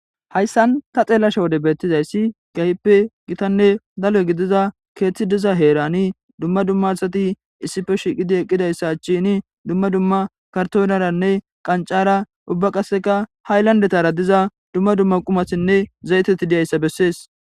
Hassan ta xallashe wodde bettizay kehippe gittane dalgga giddiza keththi diiza heeran dumma dumma assati issippe shiiqidi eqqidayssa achchen dumma dumma karttoneranne qanccara ubba qasseka haylanddetear diiza dumma dumma qummatinne zaytteti diizayssa beses.